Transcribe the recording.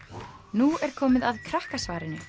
nú er komið að Krakkasvarinu